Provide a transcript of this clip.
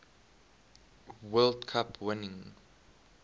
world cup winning